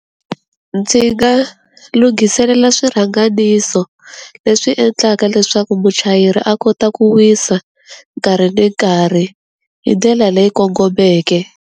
Ndzi nga lunghiselela swirhanganiso leswi endlaka leswaku muchayeri a kota ku wisa, nkarhi ni nkarhi. Hi dyela leyi kongomeke.